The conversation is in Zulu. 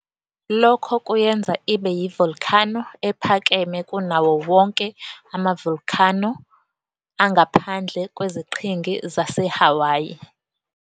Lokho kuyenza ibe yi volcano ephakeme kunawowonke ama volcano angaphandle kweziqhingi zase Hawayi.